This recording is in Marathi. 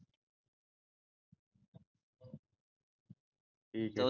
ठीक आहे